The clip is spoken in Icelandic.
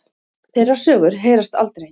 Þeirra sögur heyrast aldrei.